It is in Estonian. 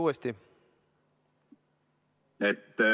Küsi uuesti.